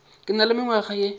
ke na le mengwaga ye